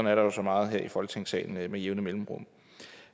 er der jo så meget her i folketingssalen med jævne mellemrum